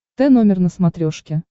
т номер на смотрешке